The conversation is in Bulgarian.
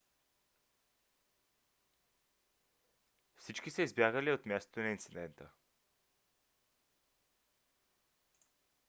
всички са избягали от мястото на инцидента